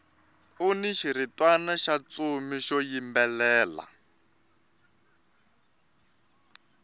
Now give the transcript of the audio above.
uni xiritwana xa ntsumi xo yimbelela